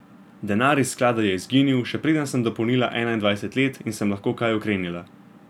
Denar iz sklada je izginil, še preden sem dopolnila enaindvajset let in sem lahko kaj ukrenila.